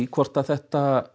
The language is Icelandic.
hvort þetta